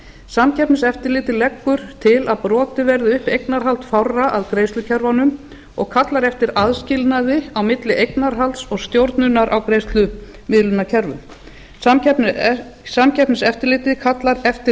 samkeppniseftirlitið leggur til að brotið verði upp eignarhald fárra að greiðslukerfunum og kallar eftir aðskilnaði á milli eignarhalds og stjórnunar á greiðslumiðlunarkerfum samkeppniseftirlitið kallar eftir